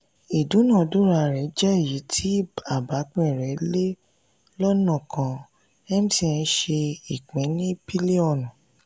ìduna-dúra ná jẹ́ èyí tí àbápín rẹ lé lọ́nà kan mtn ṣe ìpín ní bilionu.